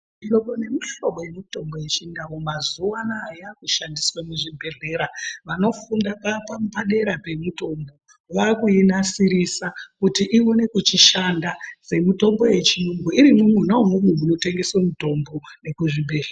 Mihlobo nemihlobo yemutombo yechindau mazuwano yakushandiswa muzvibhehlera. Vanofunda padera pemitombo vakuinasirisa kuti iwone kuchishanda semitombo yechiyungu iri mwona umwomwo munotengswa mutombo nekuzvibhedhlera.